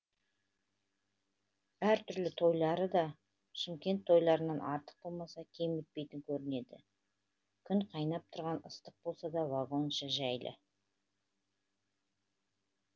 әртүрлі тойлары да шымкент тойларынан артық болмаса кем өтпейтін көрінеді күн қайнап тұрған ыстық болса да вагон іші жайлы